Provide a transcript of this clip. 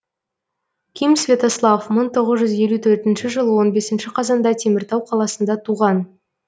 ким святослав мың тоғыз жүз елу төртінші жылы он бесінші қазанда теміртау қаласында туған